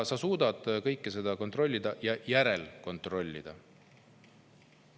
Sa suudad kõike seda kontrollida ja järelkontrollida.